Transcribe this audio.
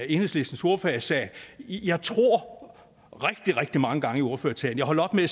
enhedslistens ordfører sagde jeg tror rigtig rigtig mange gange i ordførertalen jeg holdt op med at